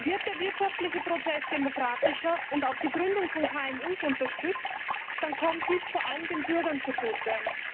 Wird der wirtschaftliche Prozess demokratischer und auch die Gründung von KMU unterstützt, dann kommt dies vor allem den Bürgern zugute.